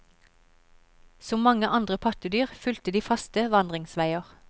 Som mange andre pattedyr fulgte de faste vandringsveger.